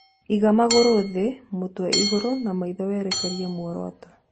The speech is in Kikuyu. Iga magũrũ thĩ, mũtwe igũrũ, na maitho werekerie mworoto.